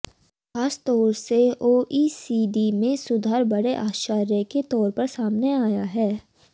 खास तौर से ओईसीडी में सुधार बड़े आश्चर्य के तौर पर सामने आया है